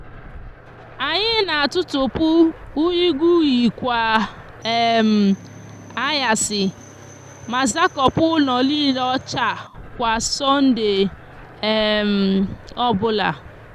anyi n'atutupu unyigunyi kwa um anyasi ma zakopu ulo niile ocha kwa sonde um obula